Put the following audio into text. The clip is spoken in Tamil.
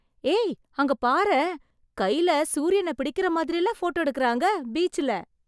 ஏய், அங்க பாரேன் கைல சூரியன பிடிக்கற மாதிரில போட்டோ எடுக்கறாங்க ...பீச்ல